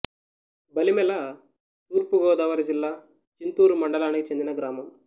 బలిమెల తూర్పు గోదావరి జిల్లా చింతూరు మండలానికి చెందిన గ్రామం